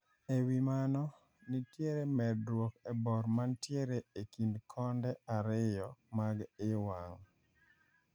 Ewi mano, nitiere medruok e bor mantiere ekind konde ariyo mag I wang`.